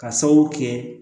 Ka sababu kɛ